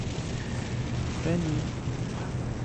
рамил